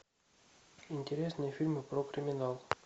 интересные фильмы про криминал